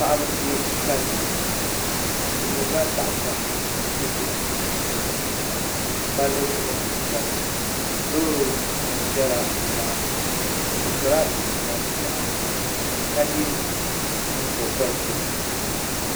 Paɣaba n yɛ kali niɛma bi ʒirila tahapona bi zuɣu ni palli zuɣu n nyɛli loori nim ʒɛla nimaani bi sola chinchina bi nyoɣani ka yɛ nyingokoriti